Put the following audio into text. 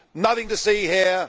Nothing to see here